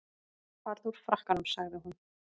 Farðu úr frakkanum sagði hún.